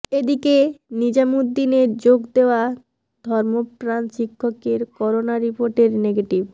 এদিকে নিজামুদ্দিনে যোগ দেওয়া ধর্মপ্রাণ শিক্ষকের করোনা রিপোর্ট নেগেটিভ